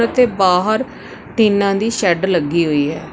ਅਤੇ ਬਾਹਰ ਟੀਨਾ ਦੀ ਸ਼ੈਡ ਲੱਗੀ ਹੋਈ ਹੈ।